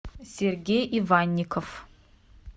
сергей иванников